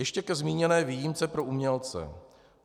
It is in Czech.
Ještě ke zmíněné výjimce pro umělce.